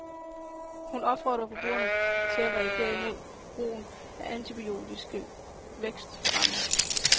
Hun opfordrer forbrugerne til at reagere imod brugen af antibiotiske vækstfremmere.